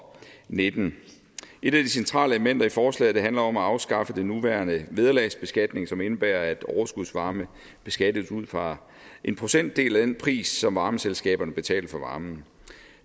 nitten et af de centrale elementer i forslaget handler om at afskaffe den nuværende vederlagsbeskatning som indebærer at overskudsvarme beskattes ud fra en procentdel af den pris som varmeselskaberne betaler for varmen